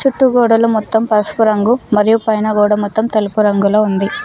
చుట్టూ గోడలు మొత్తం పసుపు రంగు మరియు పైన గోడ మొత్తం తెలుపు రంగులో ఉంది.